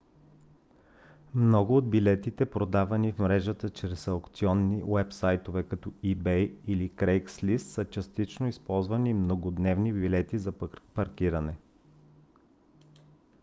много от билетите продавани в мрежата чрез аукционни уебсайтове като ebay или craigslist са частично използвани многодневни билети за паркиране